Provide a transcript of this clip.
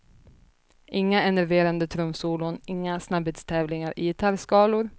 Inga enerverande trumsolon, inga snabbhetstävlingar i gitarrskalor.